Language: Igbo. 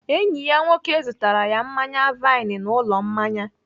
Enyi ya nwoke zụtara ya mmanya vine n'ụlọ mmanya.